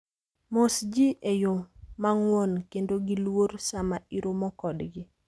Mos ji e yo mang'won kendo gi luor sama iromo kodgi.